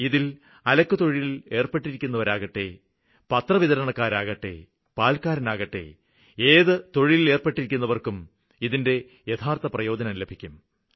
ഇതില് അലക്കു തൊഴിലില് ഏര്പ്പെട്ടിരിക്കുന്നവരാവട്ടെ പത്രവിതരണക്കാരാവട്ടെ പാല്ക്കാരനാവട്ടെ ഏത് തൊഴിലിലേര്പ്പെട്ടിരിക്കുന്നവര്ക്കും ഇതിന്റെ യഥാര്ത്ഥ പ്രയോജനം ലഭിക്കും